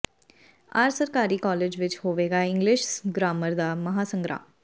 R ਸਰਕਾਰੀ college ਵਿੱਚ ਹੋਵੇਗਾ ਇੰਗਲਿਸ਼ ਗ੍ਰਾਮਰ ਦਾ ਮਹਾਂ ਸੰਗਰਾਮ